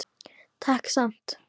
Takk samt.